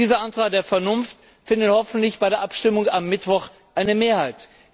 Dieser Antrag der Vernunft findet hoffentlich bei der Abstimmung am Mittwoch eine Mehrheit.